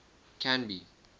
canby